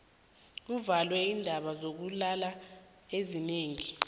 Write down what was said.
kuvulwe iindawo zokulala ezinengi